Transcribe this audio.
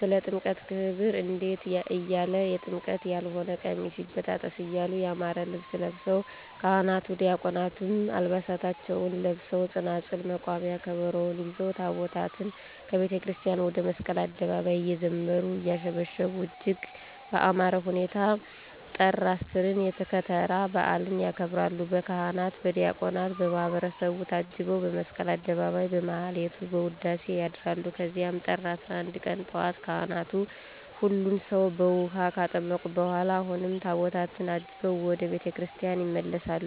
ስለ ጥምቀት ክብር እንዲህ እያሉ<የጥምቀት ያልሆነ ቀሚስ ይበጣጠስ> እያሉ ያማረ ልብስ ለብሰዉ ካህናት ዲያቆናትም ዓልባሳታቸዉን ለብሰዉ ፅናፅል፣ መቋሚያ፣ ከበሮዉን ይዘዉ ታቦታትን ከቤተክርስቲያን ወደ መስቀል አደባባይ እየዘመሩ; እያሸበሸቡ እጅግ በአማረ ሁኔታ ጥር 10ን የከተራ በዓልን ያከብራሉ። በካህናት በዲያቆናት በማህበረሰቡ ታጅበዉ በመስቀል አደባባይ በማህሌት በዉዳሴ ያድራሉ ከዚያም ጥር 11 ቀን ጧት ካህናት ሁሉን ሰዉ በዉሀ ካጠመቁ በኋላ አሁንም ታቦታትን አጅበዉ ወደ ቤተ ክርስቲያን ይመለሳሉ።